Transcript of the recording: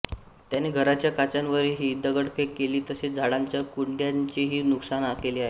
त्याने घराच्या काचांवरही दगडफेक केली तसेच झाडांच्या कुंड्यांचेही नुकसान केले आहे